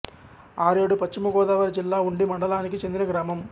ఆరేడు పశ్చిమ గోదావరి జిల్లా ఉండి మండలానికి చెందిన గ్రామం